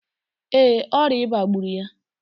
Ee, ọrịa ịba gburu ya.